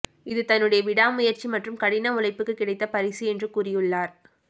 இது தன்னுடைய விடா முயற்சி மற்றும் கடின உழைப்புக்கு கிடைத்த பரிசு என்று கூறியுள்ளார்